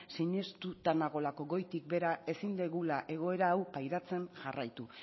sinestuta nagoelako goitik behera ezin dugula egoera hau pairatzen jarraitu